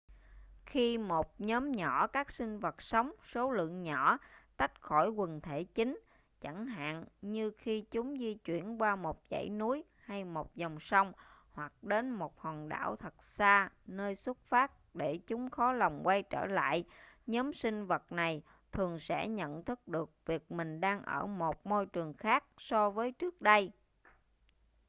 khi một nhóm nhỏ các sinh vật sống số lượng nhỏ tách khỏi quần thể chính chẳng hạn như khi chúng di chuyển qua một dãy núi hay một dòng sông hoặc đến một hòn đảo thật xa nơi xuất phát để chúng khó lòng quay trở lại nhóm sinh vật này thường sẽ nhận thức được việc mình đang ở một môi trường khác so với trước đây